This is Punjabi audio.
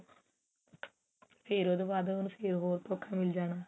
ਫ਼ੇਰ ਉਹਦੇ ਬਾਅਦ ਉਹਨੂੰ ਫ਼ੇਰ ਹੋਰ ਧੋਖਾ ਮਿਲ ਜਾਣਾ